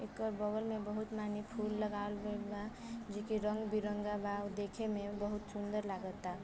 एकर बगल में बहुत माने फूल लगावल गईल बा जो कि रंग-बिरंगा बा ओ देखे में बहुत सुंदर लागत आ।